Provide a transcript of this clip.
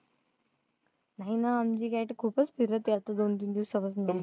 नाही ना, आमची cat खूपच फिरत आहे आता दोन-तीन दिवसापासनं.